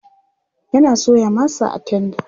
yana soya masa a tenda